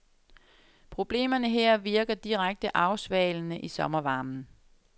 Problemerne her virker direkte afsvalende i sommervarmen.